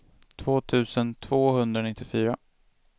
två tusen tvåhundranittiofyra